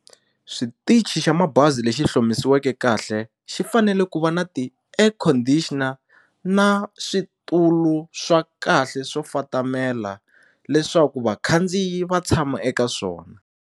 Switichi xa mabazi lexi hlomisiweke kahle xi fanele ku va na ti-air conditioner na switulu swa kahle swo fatamela leswaku vakhandziyi va tshama eka swona.